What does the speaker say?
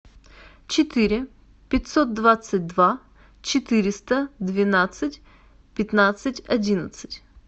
четыре пятьсот двадцать два четыреста двенадцать пятнадцать одиннадцать